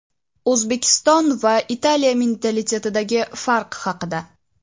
O‘zbekiston va Italiya mentalitetidagi farq haqida.